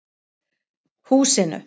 Húsinu